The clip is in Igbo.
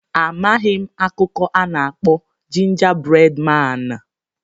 Amaghị m akụkọ a na-akpọ Jinja bred maan.